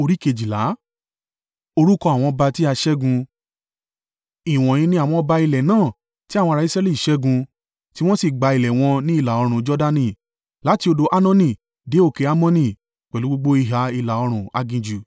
Ìwọ̀nyí ní àwọn ọba ilẹ̀ náà tí àwọn ará Israẹli ṣẹ́gun, tí wọ́n sì gba ilẹ̀ wọn ní ìlà-oòrùn Jordani, láti odò Arnoni dé òkè Hermoni, pẹ̀lú gbogbo ìhà ìlà-oòrùn aginjù: